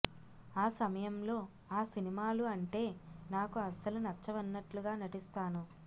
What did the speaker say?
ఆ సమయంలో ఆ సినిమాలు అంటే నాకు అస్సలు నచ్చవన్నట్లుగా నటిస్తాను